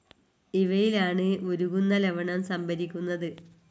ഇവയിലാണ് ഉരുകുന്ന ലവണം സംഭരിക്കുന്നത്.